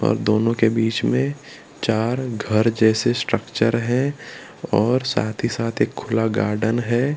दोनों के बीच में चार घर जैसा स्ट्रक्चर है और साथ ही साथ एक खुला गार्डन है।